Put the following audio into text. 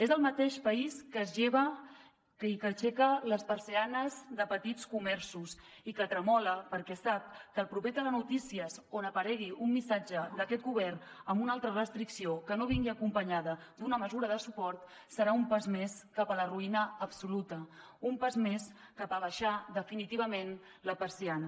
és el mateix país que es lleva i que aixeca les persianes de petits comerços i que tremola perquè sap que el proper telenotícies on aparegui un missatge d’aquest govern amb una altra restricció que no vingui acompanyada d’una mesura de suport serà un pas més cap a la ruïna absoluta un pas més cap a abaixar definitivament la persiana